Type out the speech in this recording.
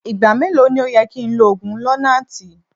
Igba melo ni o yẹ ki n lo oogun lonart?